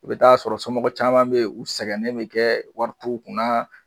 U bɛ taa sɔrɔ somɔgɔw caman bɛ u sɛgɛnnen bɛ kɛ wari t'u kunna